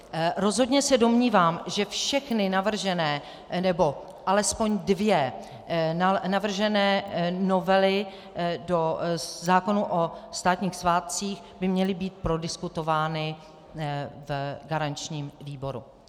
Rozhodně se domnívám, že všechny navržené, nebo alespoň dvě navržené novely do zákona o státních svátcích by měly být prodiskutovány v garančním výboru.